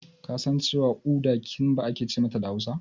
Kasan cewa Uda "Kimba" ake ce mata da Hausa?